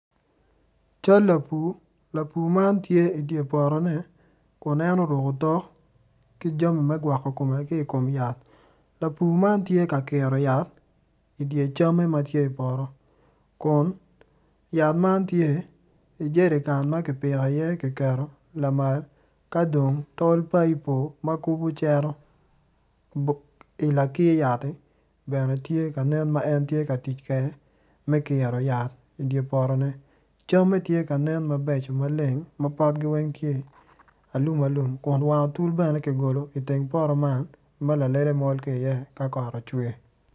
Cal lapur lapur man tye idye potone kun en oruku otok ki jami me gwokko komme ki i kom yat lapur man tye ka kiro yat idye camme ma tye i poto kun yat man tye i jerikan ma ki piko iye ki keto lamal ka dong tol paipo ma kubu cero i lakir yatti bene tye ka nen ma en tye ka tic kede me kiro yat idye potone camme tye ka nen mabeco ma potgi weny tye alum alum kun wang otol bene ki golo iteng poto man ma lalele mol ki iye ka kot ocwer